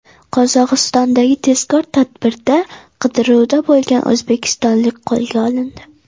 Qozog‘istondagi tezkor tadbirda qidiruvda bo‘lgan o‘zbekistonlik qo‘lga olindi.